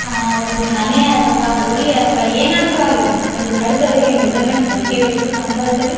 ಆಹ್ಹ್ ಒಂದು ಮನೆ ಅಥವಾ ಗುಡಿ ಅಥವಾ ಏನಾದ್ರು ಅಗಿರ್ಲಿ ಒಂದು ಕಳಸೋದಕ್ಕೆ ಮೆಸರ್ಮೆಂಟ್ ಬೇಕೇ ಬೇಕು ಕಂಪಲ್ಸರಿ .